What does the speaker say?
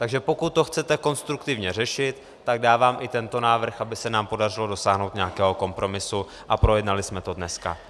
Takže pokud to chcete konstruktivně řešit, tak dávám i tento návrh, aby se nám podařilo dosáhnout nějakého kompromisu a projednali jsme to dneska.